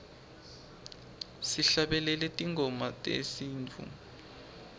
sihlabelele tingoma tesintfu